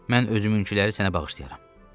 Mən özümünküləri sənə bağışlayaram.